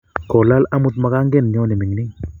kolal amut makangenyo ne mining